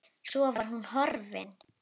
Svo var hún horfin.